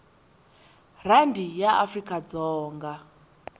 rhandi ya afrikadzonga